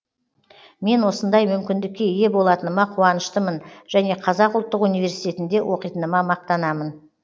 мен осындай мүмкіндікке ие болатыныма қуаныштымын және қазақ ұлттық университетінде оқитыныма мақтанамын